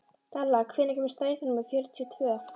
Dalla, hvenær kemur strætó númer fjörutíu og tvö?